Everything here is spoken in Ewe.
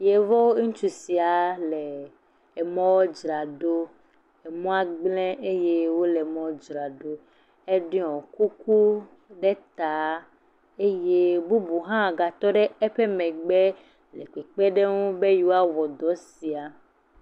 Yevu ŋutsua sia le mɔdzram ɖo mɔa gble eye wole mɔa dzramɖo eɖɔ kuku ɖe ta eye bubu ha tɔɖe emegbe le kpekpeŋ ɖenu be yewo awɔ dɔ sia